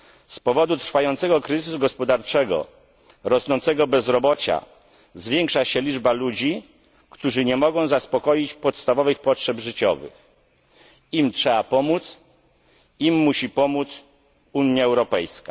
Z powodu trwającego kryzysu gospodarczego, rosnącego bezrobocia zwiększa się liczba ludzi, którzy nie mogą zaspokoić podstawowych potrzeb życiowych im trzeba pomóc, im musi pomóc Unia Europejska.